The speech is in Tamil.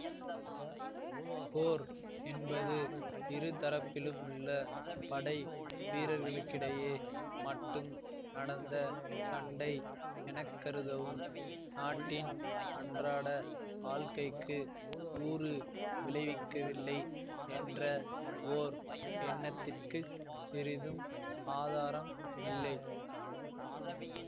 போர் என்பது இருதரப்பிலுமுள்ள படை வீரர்களுக்கிடையே மட்டும் நடந்த சண்டை எனக்கருதவும் நாட்டின் அன்றாட வாழ்க்கைக்கு ஊறு விளைவிக்கவில்லை என்ற ஓர் எண்ணத்திற்கு சிறிதும் ஆதாரம் இல்லை